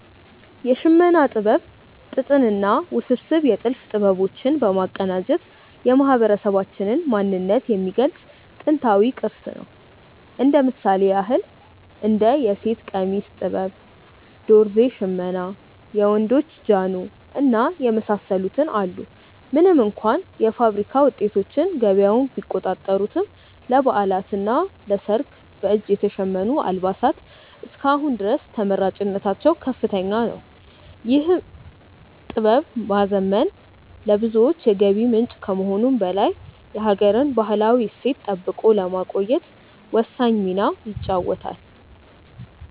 የሽመና ጥበብ ጥጥንና ውስብስብ የጥልፍ ጥበቦች በማቀናጀት የማህበረሰባችንን ማንነት የሚገልጽ ጥንታዊ ቅርስ ነው። እንደ ምሳሌ ያክል እንደ የሴት ቀሚስ ጥበብ፣ ዶርዜ ሽመና፣ የወንዶች ጃኖ እና የመሳሰሉትን አሉ። ምንም እንኳ የፋብሪካ ውጤቶች ገበያውን ቢቆጣጠሩትም፣ ለበዓላትና ለሰርግ በእጅ የተሸመኑ አልባሳት እስከ አሁን ድረስ ተመራጭነታቸው ከፍተኛ ነው። ይህን ጥበብ ማዘመን ለብዙዎች የገቢ ምንጭ ከመሆኑም በላይ የሀገርን ባህላዊ እሴት ጠብቆ ለማቆየት ወሳኝ ሚና ይጫወታል።